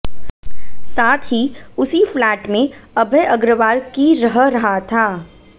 साथ ही उसी फ्लैट में अभय अग्रवाल की रह रहा था